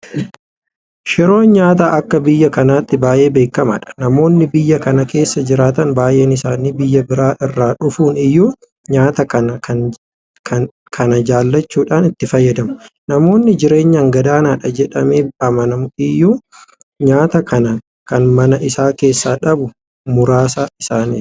Shiroon nyaata akka biyya kanaatti baay'ee beekamaadha. Namoonni biyya kana keessa jiraatan baay'een isaanii biyya biraa irraa dhufan iyyuu nyaata kana jaalachuudhaan itti fayyadamu. Namoonni jireenyaan gadaanaadha jedhamee amanamu iyyuu nyaata kana kan mana isaa keessaa dhabu muraasa isaaniiti.